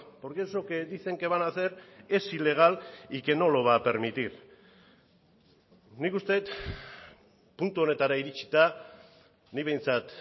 porque eso que dicen que van a hacer es ilegal y que no lo va a permitir nik uste dut puntu honetara iritsita nik behintzat